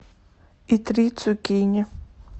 и три цукини